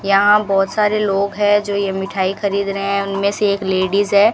यहां बहोत सारे लोग हैं जो ये मिठाई खरीद रहे हैं उनमें से एक लेडिस है।